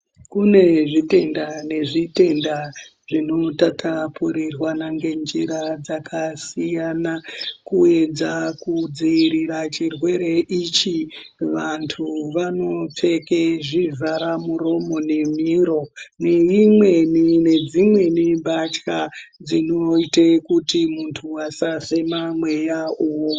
Kune zvitenda nezvitenda zvinotapurirwana ngenjira dzakasiyana kuedza kudzivirira chirwere ichi vandu vanopfeke zvivhara muromo nemwiro neimweni nedzimweni mbatya dzinoita kuti mundu asafema mweya iwowo.